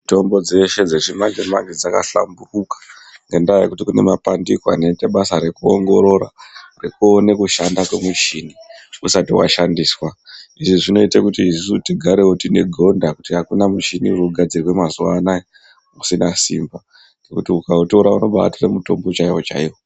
Mutombo dzeshe dzechimanje manje dzakahlamburuka ngendaa yekuti kune mapandiko anoitavbasa rekuongorora rekuone kushanda kwemuchoni usati washandiswa, izvi zvinoita kuti isusu tigarewo tine gonda kuti akuna michini inogadzirwa mazuwa anaya usine simba ngekuti ukautora unobatore mutombo chaiwo chaiwo.